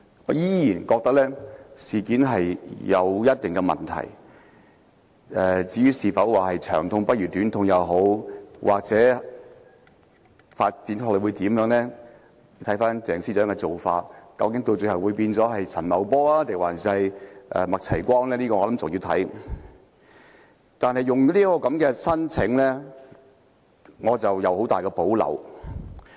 我依然覺得僭建事件有一定的問題，至於是否"長痛不如短痛"，又或之後的發展如何，究竟她最後會否變成陳茂波，還是麥齊光，便要看鄭司長的造化，我想仍有待觀察。